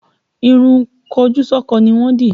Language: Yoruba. Ìrun kojúsọ́kọ ni wọ́n dì